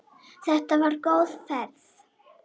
Þetta var góð ferð.